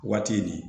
Waati nin